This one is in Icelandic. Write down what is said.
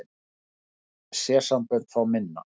Önnur sérsambönd fá minna